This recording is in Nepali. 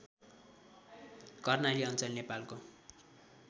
कर्णाली अञ्चल नेपालको